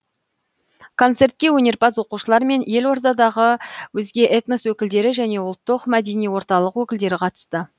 концертке өнерпаз оқушылар мен елордадағы өзге этнос өкілдері және ұлттық мәдени орталық өкілдері қатысты